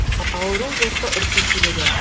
ауру жылқы үркек келеді